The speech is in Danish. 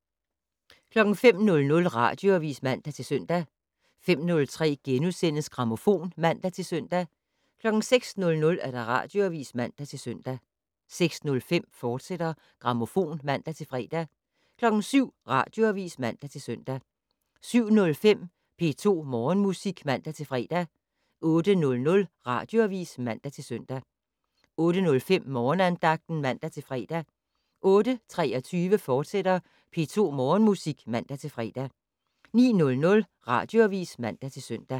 05:00: Radioavis (man-søn) 05:03: Grammofon *(man-søn) 06:00: Radioavis (man-søn) 06:05: Grammofon, fortsat (man-fre) 07:00: Radioavis (man-søn) 07:05: P2 Morgenmusik (man-fre) 08:00: Radioavis (man-søn) 08:05: Morgenandagten (man-fre) 08:23: P2 Morgenmusik, fortsat (man-fre) 09:00: Radioavis (man-søn)